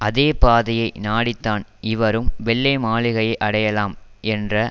அதே பாதையை நாடித்தான் இவரும் வெள்ளை மாளிகையை அடையலாம் என்ற